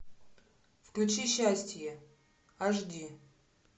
включи счастье аш ди